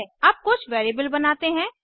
अब कुछ वैरिएबल बनाते हैं